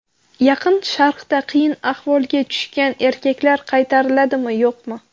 Yaqin Sharqda qiyin ahvolga tushgan erkaklar qaytariladimi, yo‘qmi?